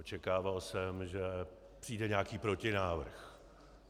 Očekával jsem, že přijde nějaký protinávrh.